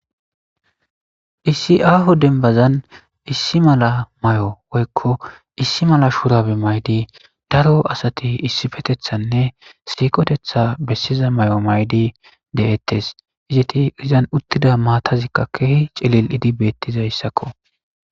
isi aho denbazan issi mala may7o woykko issi mala shuurabe maydi daro asati issifetethanne siikotetha bessiza may7o maydi de7ettes izeti izan uttida maatazikka keehi celili'idi beettizayssakko